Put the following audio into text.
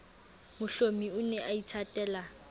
mohlomi o ne a ithatela